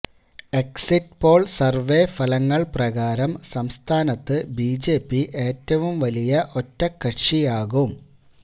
exit poll survey ഫലങ്ങൾ പ്രകാരം സംസ്ഥാനത്ത് ബിജെപി ഏറ്റവും വലിയ ഒറ്റക്കക്ഷിയാകും